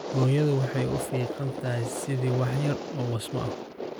Hooyadu waxay u fiiqan tahay sidii wax yar oo wasmo ah